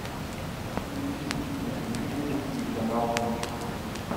включи на телевизоре телеканал бридж